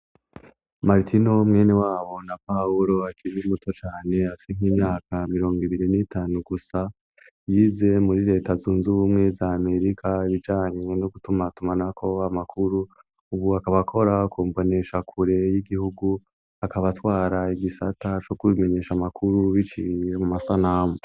Maritino mwene wabo na Pawulo akiriye muto cane hasi nk'imyaka mirongo ibiri n'itanu gusa yize muri leta zunzu bumwe za amerika bijanye no gutuma tumana ko amakuru ubu akabakora kumbonesha kure y'igihugu akaba twara igisata cyo kubimenyesha amakuru bicie mu masanamu.